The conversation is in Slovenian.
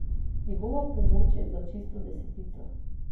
Njegova pomoč je za čisto desetico.